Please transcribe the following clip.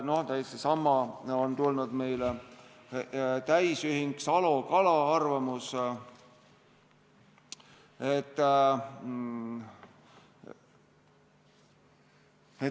Meile on tulnud täisühing Salo-Kala arvamus.